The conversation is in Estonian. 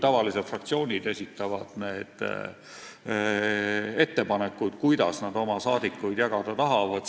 Tavaliselt esitavad fraktsioonid ettepanekud, kuidas nad oma liikmeid komisjonidesse jagada tahavad.